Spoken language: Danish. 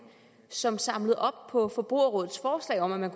som samlede op på forbrugerrådets forslag om at